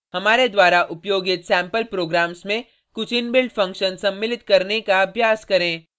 हमारे द्वारा उपयोगित सेम्पल प्रोग्राम्स में कुछ इनबिल्ट फंक्शन सम्मिलित करने का अभ्यास करें